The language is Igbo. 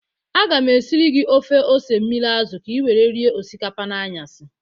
Aga m esiri gị ofe ose mmiri azụ ka i were rie osikapa n'anyasị